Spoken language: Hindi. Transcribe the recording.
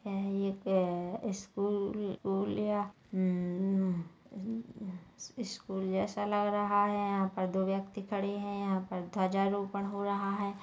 यहाँ पे दो व्यक्ति खड़े है यहाँ पे ध्वजा रोपण हो रहा है।